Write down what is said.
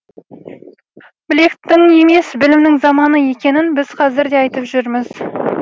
білектің емес білімнің заманы екенін біз қазір де айтып жүрміз